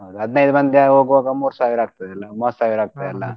ಹೌದು ಹದ್ನೈಮಂದಿ ಹೋಗುವಾಗ ಮೂರು ಸಾವಿರ ಆಕ್ತದಲ್ಲ ಮೂವತ್ತು ಸಾವಿರ ಆಕ್ತದಲ್ಲ .